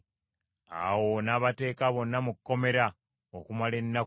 Awo n’abateeka bonna mu kkomera okumala ennaku ssatu.